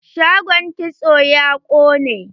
Shagon kitson ya ƙone.